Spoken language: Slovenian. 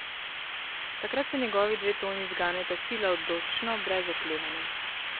Takrat se njegovi dve toni zganeta sila odločno, brez oklevanja.